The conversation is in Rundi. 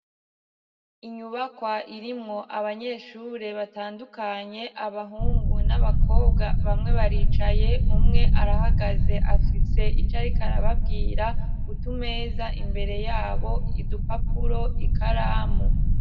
Inyubakwa irimwo abanyeshure batandukanye, abahungu n'abakobwa ; bamwe baricaye umwe arahagaze ; afise ico ariko arababwira. Utumeza imbere yabo, udupapuro, ikaramu.